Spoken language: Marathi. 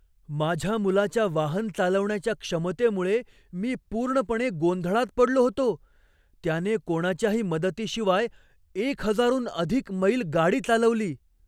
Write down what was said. माझ्या मुलाच्या वाहन चालवण्याच्या क्षमतेमुळे मी पूर्णपणे गोंधळात पडलो होतो! त्याने कोणाच्याही मदतीशिवाय एक हजारहून अधिक मैल गाडी चालवली!